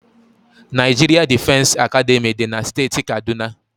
Naijiria Difesi Academị dị na steeti Kaduna.